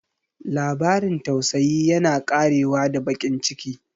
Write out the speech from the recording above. Labarin tausayi yana ƙarewa da baƙin ciki.